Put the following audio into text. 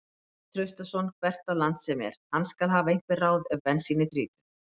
Matthías Traustason hvert á land sem er, hann skal hafa einhver ráð ef bensínið þrýtur.